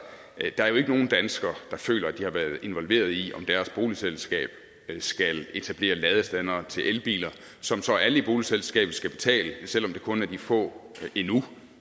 der er jo ikke nogen danskere der føler at de har været involveret i om deres boligselskab skal etablere ladestandere til elbiler som så alle i boligselskabet skal betale for selv om det kun er de få endnu